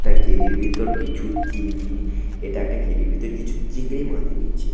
এটা কেডির ভেতর কিছু চিংড়ি-- এটা একটা কিরির ভিতর কিছু চিংড়ি মাছ রয়েছে।